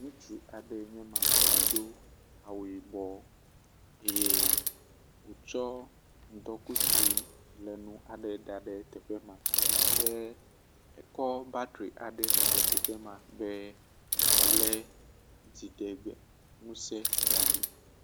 Ŋutsu aɖe eny ma, do awu yibɔ eye wotsɔ ŋdɔ kutsu aɖe da ɖe teƒe ma, ke ekɔ battery aɖe da ɖe teƒe be woale dziɖegbe ŋusẽ da ɖi